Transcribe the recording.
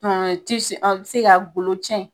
tisi a be se ka golo cɛn